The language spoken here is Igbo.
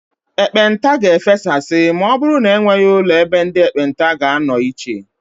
Ekpenta ga-efesasị ma ọbụrụ na enweghị ụlọ ebe ndị ekpenta ga-anọ iche.